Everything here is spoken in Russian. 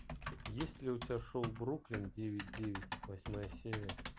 есть ли у тебя шоу бруклин девять девять восьмая серия